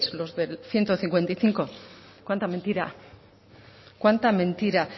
los del ciento cincuenta y cinco cuanta mentira cuanta mentira